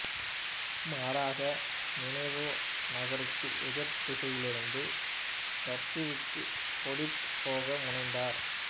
மாறாக நினிவே நகருக்கு எதிர்த்திசையிலிருந்த தர்சீசுக்கு ஓடிப் போக முனைந்தார்